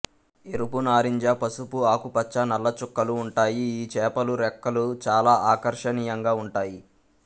ఎరుపు నారింజ పసుపు ఆకుపచ్చ నల్ల చుక్కలు ఉంటాయి ఈ చేపలు రెక్కలు చాలా ఆకర్షణీయంగా ఉంటాయి